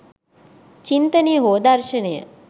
චින්තනය හෝ දර්ශනය